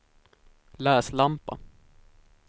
läslampa